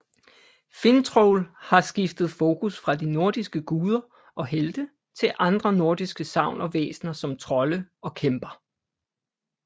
Finntroll har skiftet fokus fra de nordiske guder og helte til andre nordiske sagn og væsner som trolde og kæmper